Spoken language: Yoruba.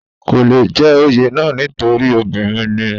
kò le jẹ́ oyè náà nítorí obìnrin ni